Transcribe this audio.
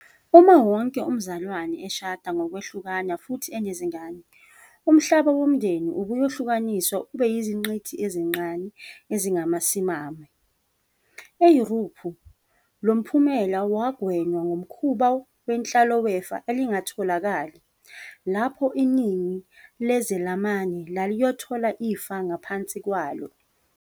Uma wonke umzalwane eshada ngokwehlukana futhi enezingane, umhlaba womndeni ubuyohlukaniswa ube yiziqinti ezincane ezingasimami. EYurophu, lo mphumela wagwenywa ngomkhuba wenhlalo wefa elingatholakali, lapho iningi lezelamani laliyothola ifa ngaphansi kwalo.